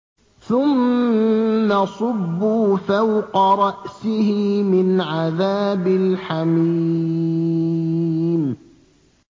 ثُمَّ صُبُّوا فَوْقَ رَأْسِهِ مِنْ عَذَابِ الْحَمِيمِ